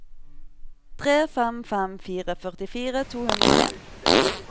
tre fem fem fire førtifire to hundre og en